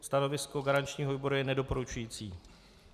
Stanovisko garančního výboru je nedoporučující.